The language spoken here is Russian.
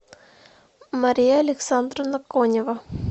мария александровна конева